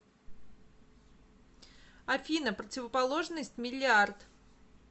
афина противоположность миллиард